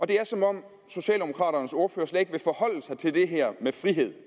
det er som om socialdemokraternes ordfører slet ikke vil forholde sig til det her med frihed